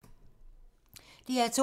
DR2